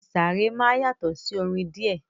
Ìsàrẹ̀ máa yàtọ̀ sí orin díẹ̀.